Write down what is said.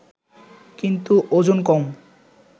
কিন্তু ওজন কম